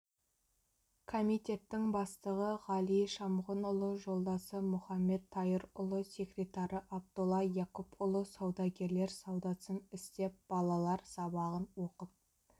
комитеттің бастығы ғали шамғұнұлы жолдасы мұхаммет тайырұлы секретары абдолла якупұлы саудагерлер саудасын істеп балалар сабағын оқып